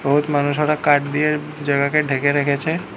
বহুৎ মানুষ ওরা কাঠ দিয়ে জায়গাকে ঢেকে রেখেছে।